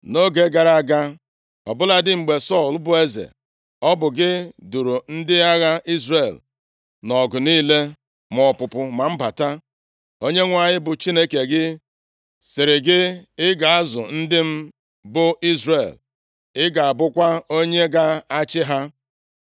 Nʼoge gara aga, ọ bụladị mgbe Sọl bụ eze, ọ bụ gị duuru ndị agha Izrel nʼọgụ niile, ma ọpụpụ ma mbata. Onyenwe anyị bụ Chineke gị, sịrị gị, ‘Ị ga-azụ ndị m, bụ Izrel, ị ga-abụkwa onye ga-achị ha.’ ”